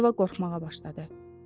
Yeva qorxmağa başladı.